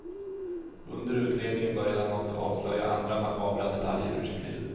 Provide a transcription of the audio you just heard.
Under utredningen började han också avslöja andra makabra detaljer ur sitt liv.